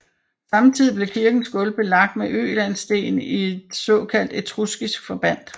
Samme tid blev kirkens gulv belagt med ølandssten i et såkaldt etruskisk forbandt